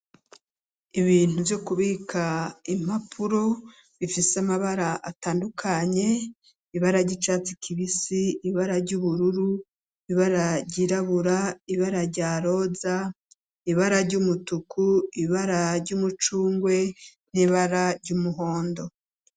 Ibintu vyo kubika impapuro bifise amabara atandukanye ,ibara ry'icatsi kibisi ,ibara ry'ubururu, ibara ryirabura ,ibara rya roza ,ibara ry'umutuku, ibara ry'umucungwe, n'ibara ry'umuhondo.